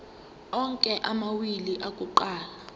onke amawili akuqala